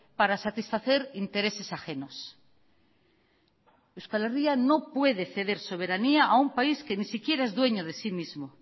para satisfacer intereses ajenos euskal herria no puede ceder soberanía a un país que ni siquiera es dueño de sí mismo